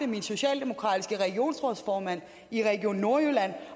min socialdemokratiske regionsrådsformand i region nordjylland